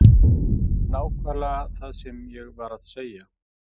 Nákvæmlega það sem ég var að segja.